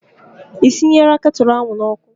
Ị sinyela ketụlụ ahụ n'ọkụ?